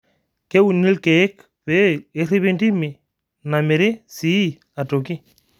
Keuni lkeek pee erripi ntimi namiri sii atoki